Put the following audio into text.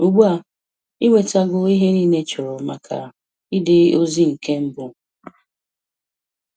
Ugbua, I Nwetago ihe niile ichọrọ maka ide ozi nke mbụ.